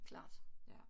Klart